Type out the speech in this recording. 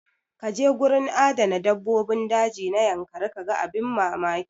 Kaje gurin adana dabbobin daji na yankari kaga abin mamaki.